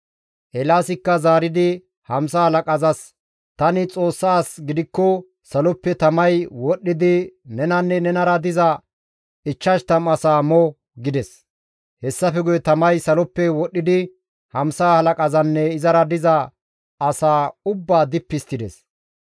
Eelaasikka zaaridi hamsa halaqazas, «Tani Xoossa as gidikko saloppe tamay wodhdhidi nenanne nenara diza 50 asaa mo!» gides. Hessafe guye tamay saloppe wodhdhidi hamsa halaqazanne izara diza asaa ubbaa dippi histtides.